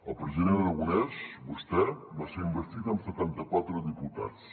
el president aragonès vostè va ser investit amb setanta quatre diputats